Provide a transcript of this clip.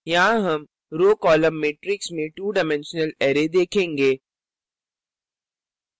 यहाँ हम row column मैट्रिक्समें 2 डाइमेंशनल array देखेंगे